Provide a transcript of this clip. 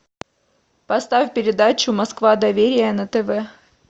поставь передачу москва доверие на тв